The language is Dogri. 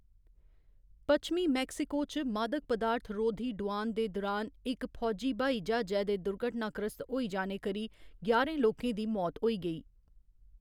पच्छमी मेक्सिको च मादक पदार्थ रोधी डुआन दे दुरान इक फौजी ब्हाई ज्हाजै दे दुर्घटनाग्रस्त होई जाने करी ञारें लोकें दी मौत होई गेई।